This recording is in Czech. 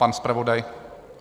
Pan zpravodaj?